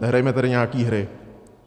Nehrajme tady nějaké hry.